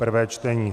prvé čtení